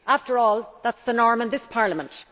After all, that is the norm in this Parliament.